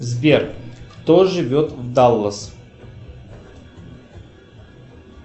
сбер кто живет в даллас